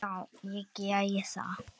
Já, ég geri það